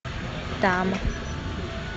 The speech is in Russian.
там